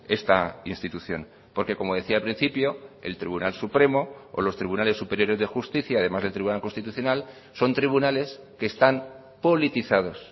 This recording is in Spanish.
esta institución porque como decía al principio el tribunal supremo o los tribunales superiores de justicia además del tribunal constitucional son tribunales que están politizados